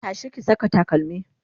tashi ki Saka takalmi!